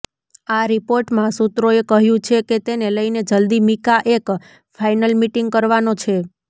આ રિપોર્ટમાં સૂત્રોએ કહ્યું છે કે તેને લઈને જલદી મીકા એક ફાઈનલ મીટિંગ કરવાનો છે